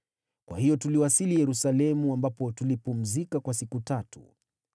Kwa hiyo tuliwasili Yerusalemu ambapo tulipumzika kwa siku tatu.